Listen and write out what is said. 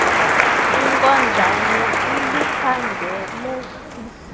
inkonjane iliphangele ihlobo